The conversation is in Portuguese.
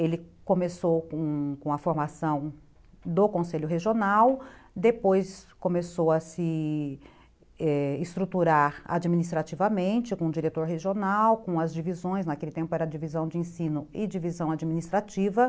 Ele começou com a formação do Conselho Regional, depois começou a se, é... estruturar administrativamente com o diretor regional, com as divisões, naquele tempo era divisão de ensino e divisão administrativa.